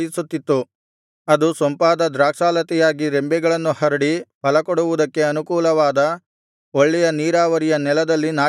ಅದು ಸೊಂಪಾದ ದ್ರಾಕ್ಷಾಲತೆಯಾಗಿ ರೆಂಬೆಗಳನ್ನು ಹರಡಿ ಫಲಕೊಡುವುದಕ್ಕೆ ಅನುಕೂಲವಾದ ಒಳ್ಳೆಯ ನೀರಾವರಿಯ ನೆಲದಲ್ಲಿ ನಾಟಿಕೊಂಡಿತ್ತು